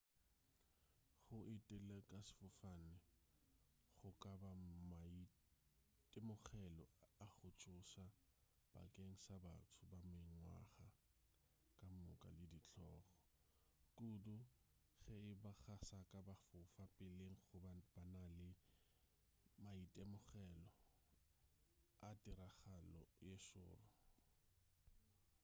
go etela ka sefofane go ka ba maitemogelo a go tšhoša bakeng sa batho ba mengwaga kamoka le ditlogo kudu ge eba ga saka ba fofa peleng goba ba na le maitemogelo a tiragalo ye šoro